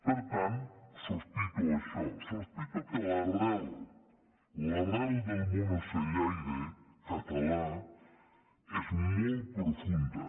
per tant sospito això sospito que l’arrel l’arrel del món ocellaire català és molt profunda